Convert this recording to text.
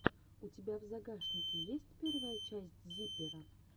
у тебя в загашнике есть первая часть зиппера